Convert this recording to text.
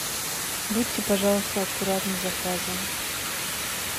будьте пожалуйста аккуратны с заказом